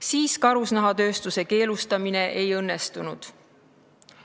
Siis karusnahatööstuse keelustamine ei õnnestunud.